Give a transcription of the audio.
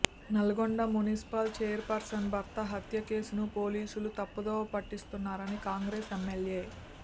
Nalgonda municipal chairperson భర్త హత్య కేసును పోలీసులు తప్పుదోవ పట్టిస్తున్నారని కాంగ్రెస్ ఎమ్మెల్యే